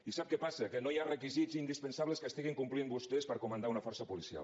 i sap què passa que no hi ha requisits indispensables que estiguin complint vostès per comandar una força policial